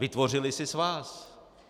Vytvořily si svaz.